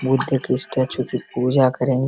बुद्ध की स्टेच्यु की पूजा करेंगे।